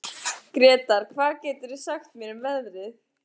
Gretar, hvað geturðu sagt mér um veðrið?